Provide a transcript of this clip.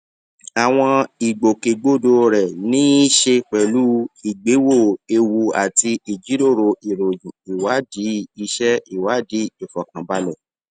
àwọn ìgbòkègbodò rè ní í ṣe pẹlú ìgbéwò ewu àti ìjíròrò ìròyìn ìwádìí iṣẹ ìwádìí ìfòkànbalẹ